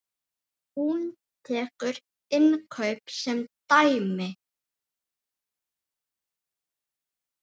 Hún tekur innkaup sem dæmi.